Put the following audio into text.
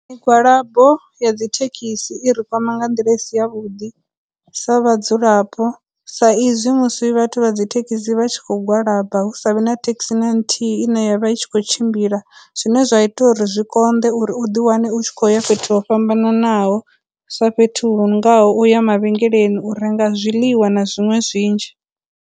Migwalabo ya dzithekhisi i ri kwama nga nḓila i si ya vhuḓi sa vhadzulapo, sa izwi musi vhathu vha dzithekhisi vha tshi khou gwalaba hu sa vhe na taxi na nthihi ine vha i tshi khou tshimbila, zwine zwa ita uri zwi konḓe uri u ḓi wane u tshi kho uya fhethu ho fhambananaho, sa fhethu huno ngaho uya mavhengeleni u renga zwiḽiwa na zwiṅwe zwinzhi.